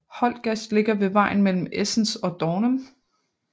Holtgast ligger ved vejen mellem Esens og Dornum